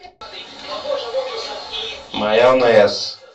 майонез